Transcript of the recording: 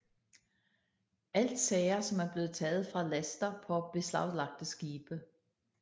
Alt sager som er blevet taget fra laster på beslaglagte skibe